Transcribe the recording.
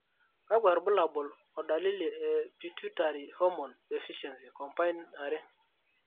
kwakwa irbulabo o dalili e Pituitary hormone deficiency, combined 2?